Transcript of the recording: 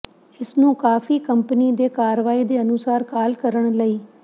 ਇਸ ਨੂੰ ਕਾਫੀ ਕੰਪਨੀ ਦੇ ਕਾਰਵਾਈ ਦੇ ਅਨੁਸਾਰ ਕਾਲ ਕਰਨ ਲਈ